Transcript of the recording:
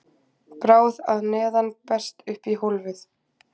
bráð að neðan berst upp í hólfið